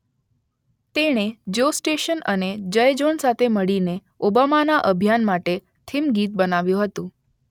તેણે Joss Stone અને જય ઝોન સાથે મળીને ઓબામાના અભિયાન માટે થીમ ગીત બનાવ્યું હતું.